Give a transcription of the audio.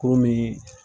Kurun bee